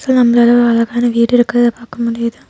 இங்க நம்பலாள ஒரு அழகான வீடு இருக்கறத பார்க்க முடிது.